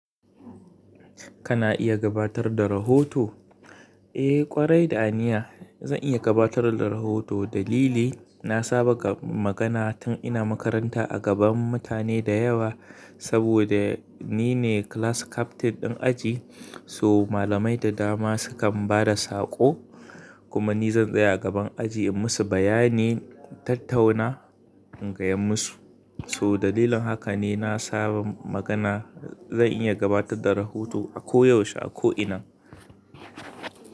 Kana iya gabatar da rahoto? Eh, kwarai da aniya. Zan iya gabatar da rahoto. Dalili, na saba da magana tun ina makaranta a gaban mutane da yawa. Saboda ni ne class captain ɗin aji, so malamai da dama sukan ba da saƙo, kuma ni zan tsaya a gaban aji in musu bayani, tattauna in gaya musu. So dalilin haka ne na saba magana. Zan iya gabatar da rahoto a koyaushe, a ko ina.